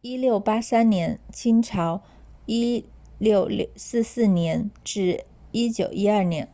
1683年清朝1644年1912年